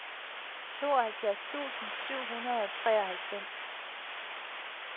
tooghalvfjerds tusind syv hundrede og treoghalvfems